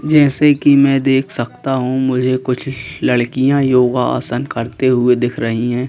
जैसे कि मैं देख सकता हूं मुझे कुछ लड़कियां योगा आसन करते हुए दिख रही हैं।